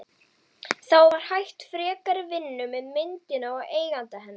Þá var hætt frekari vinnu með myndina og eiganda hennar